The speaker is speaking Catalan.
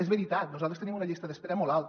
és veritat nosaltres tenim una llista d’es·pera molt alta